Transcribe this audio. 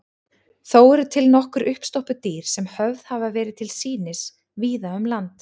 Þó eru til nokkur uppstoppuð dýr sem höfð hafa verið til sýnis víða um land.